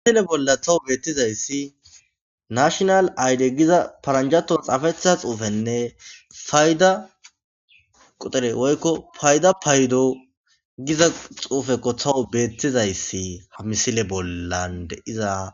Ha misile bolla tawu beettizayssi nashonal ayde giza paranjato xaafetiza xuufenne payda qoxere woykko payda paydo giza xuufekko tawu beettizayssi ha misile bollan deiza.